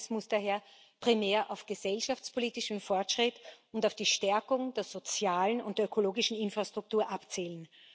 muss daher primär auf gesellschaftspolitischen Fortschritt und auf die Stärkung der sozialen und der ökologischen Infrastruktur abzielen.